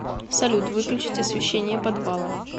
салют выключить освещение подвала